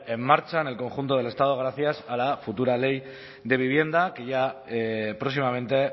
en marcha en el conjunto del estado gracias a la futura ley de vivienda que ya próximamente